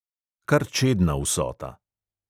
Kar čedna vsota.